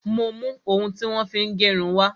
Mo ń mú ohun tí wón fi ń gérun wá